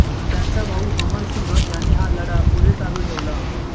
त्यांचा भाऊ अमरसिंह याने हा लढा पुढे चालू ठेवला